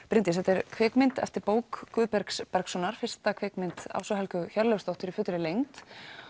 Bryndís þetta er kvikmynd eftir bók Guðbergs Bergssonar fyrsta kvikmynd Ásu Helgu Hjörleifsdóttur í fullri lengd